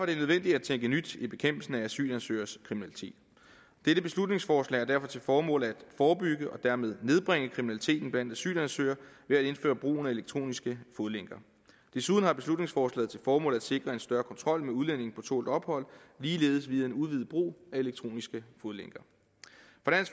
det nødvendigt at tænke nyt i bekæmpelsen af asylansøgeres kriminalitet dette beslutningsforslag har derfor til formål at forebygge og dermed nedbringe kriminaliteten blandt asylansøgere ved at indføre brugen af elektroniske fodlænker desuden har beslutningsforslaget til formål at sikre en større kontrol med udlændinge på tålt ophold ligeledes ved en udvidet brug af elektroniske fodlænker